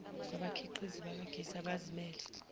kwabakhiqizi bakagesi abazimele